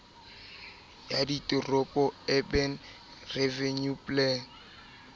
ya diteropo urban renewal plan